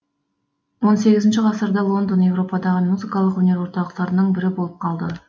он сегізінші ғасырда лондон еуропадағы музыкалық өнер орталықтарының бірі болып қалды